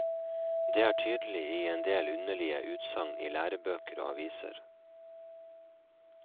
Det er tydelig i endel underlige utsagn i lærebøker og aviser.